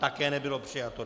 Také nebylo přijato.